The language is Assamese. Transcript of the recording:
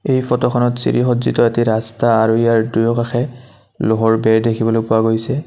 এই ফটোখনত চিৰি সজ্জিত এটা ৰাস্তা আৰু ইয়াৰ দুয়োকাষে লোহৰ বেৰ দেখিবলৈ পোৱা গৈছে।